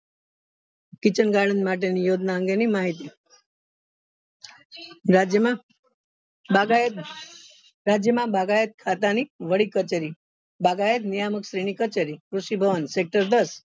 Kitchen garden માટે ની યોજના અંગે ની માહિતી રાજ્ય માં બાગાયત રાજ્ય માં બાગાયત ખાતા ની વડી કચેરી બાગાયત નિયામક શ્રેણી કચેરી કૃષિ ભવન sector દસ